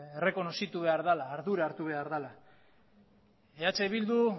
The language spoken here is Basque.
errekonozitu behar dela ardura hartu behar dela eh bildu